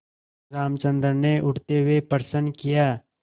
रामचंद्र ने उठते हुए प्रश्न किया